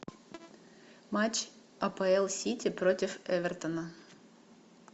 матч апл сити против эвертона